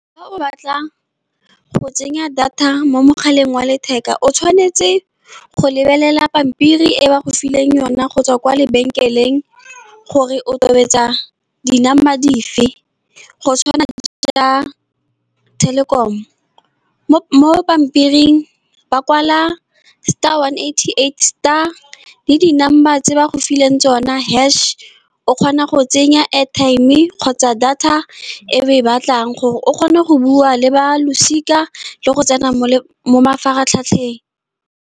Fa o batla go tsenya data mo mogaleng wa letheka o tshwanetse go lebelela pampiri e ba go fileng yona go tswa kwa lebenkeleng, gore o tobetsa di-number dife. Go tshwana le Telkom-o, mo pampiring ba kwala star one eighty-eight star le di-number tse ba go fileng tsona hash. O kgona go tsenya airtime kgotsa data e be e batlang gore o kgona go bua le ba losika, le go tsena mo mafaratlhatlheng.